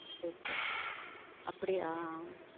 சேரி சேரி அப்படியா.